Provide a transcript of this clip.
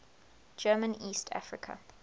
german east africa